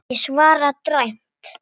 Ég svara dræmt.